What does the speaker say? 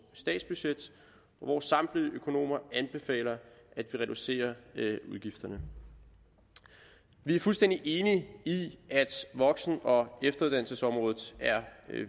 statsbudget og hvor samtlige økonomer anbefaler at vi reducerer udgifterne vi er fuldstændig enige i at voksen og efteruddannelsesområdet er